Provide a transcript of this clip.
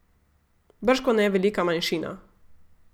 Bržkone velika manjšina.